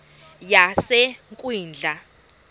yasekwindla